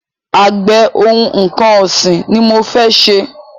Àgbẹ̀ oní nnkan ọ̀sìn ni mọ fẹ́ ṣe.